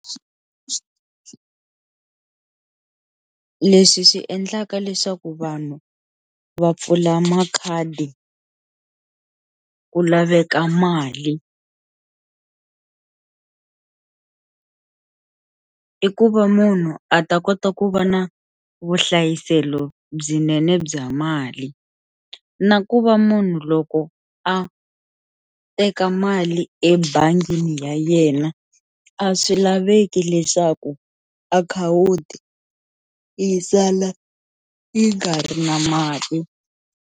Leswi swi endlaka leswaku vanhu va pfula makhadi ku laveka mali i ku va munhu a ta kota ku va na vuhlayiselo byinene bya mali na ku va munhu loko a a teka mali ebangini ya yena a swi laveki leswaku akhawunti yi sala yi nga ri na mali.